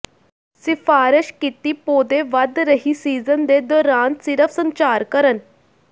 ਸਿਫਾਰਸ਼ ਕੀਤੀ ਪੌਦੇ ਵਧ ਰਹੀ ਸੀਜ਼ਨ ਦੇ ਦੌਰਾਨ ਸਿਰਫ ਸੰਚਾਰ ਕਰਨ